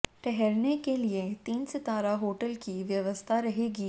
ठहरने के लिए तीन सितारा होटल की व्यवस्था रहेगी